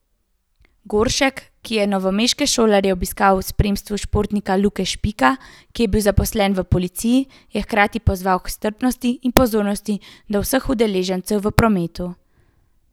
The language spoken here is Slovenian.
Goršek, ki je novomeške šolarje obiskal v spremstvu športnika Luke Špike, ki je zaposlen v policiji, je hkrati pozval k strpnosti in pozornosti do vseh udeležencev v prometu.